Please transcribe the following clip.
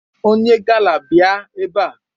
Onye gala bịa ebe a!